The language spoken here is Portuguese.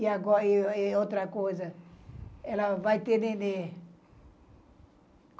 E outra coisa, ela vai ter neném.